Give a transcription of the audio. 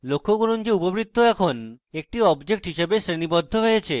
লক্ষ্য করুন যে উপবৃত্ত এখন একটি object হিসেবে শ্রেণীবদ্ধ হয়েছে